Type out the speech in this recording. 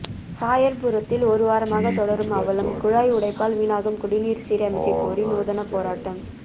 சாயர்புரத்தில் ஒரு வாரமாக தொடரும் அவலம் குழாய் உடைப்பால் வீணாகும் குடிநீர் சீரமைக்க கோரி நூதன போராட்டம்